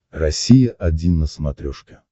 россия один на смотрешке